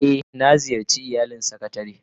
Eh, na ziyarce iyalin sakatare